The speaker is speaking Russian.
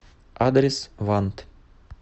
адрес вант